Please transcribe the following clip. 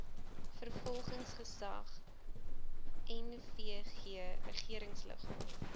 vervolgingsgesag nvg regeringsliggaam